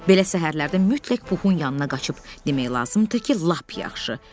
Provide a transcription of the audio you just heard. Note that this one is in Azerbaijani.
Belə səhərlərdə mütləq Puxun yanına qaçıb demək lazımdır ki, lap yaxşı.